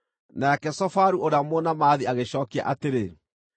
Nake Zofaru ũrĩa Mũnaamathi agĩcookia atĩrĩ: